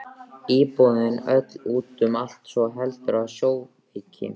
Íbúðin öll út um allt svo heldur við sjóveiki.